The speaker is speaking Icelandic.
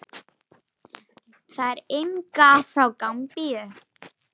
Það yngra er frá Gambíu.